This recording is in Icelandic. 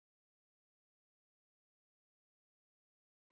Þeir þurfa að komast í sveit, sagði afi.